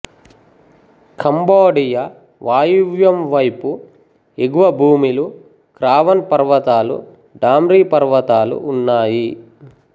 Cambodia వాయవ్యం వైపు ఎగువ భూమిలు క్రావన్ పర్వతాలు డాంరీ పర్వతాలు ఉన్నాయి